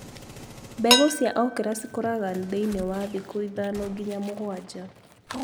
Mbegũ cia okra cikũraga thĩini wa thikũ ithano nginya mũgwanja.